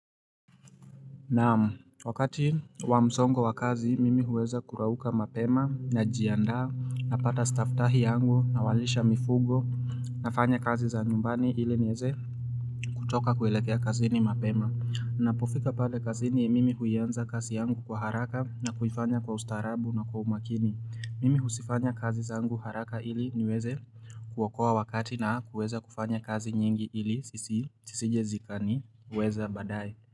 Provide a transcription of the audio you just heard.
Naam, wakati wa msongo wa kazi, mimi huweza kurauuka mapema, najiandaa, napata staftahi yangu, nawalisha mifugo, nafanya kazi za nyumbani iliniweze kutoka kuelekea kazi ni mapema Ninapofika pale kazi ni mimi huianza kazi yangu kwa haraka na kufanya kwa ustarabu na kwa umakini Mimi huzifanya kazi zangu haraka ili niweze kuokoa wakati na kuweza kufanya kazi nyingi hili sisi, zisije zikaniweza baadaye.